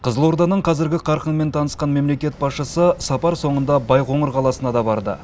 қызылорданың қазіргі қарқынымен танысқан мемлекет басшысы сапар соңында байқоңыр қаласына да барды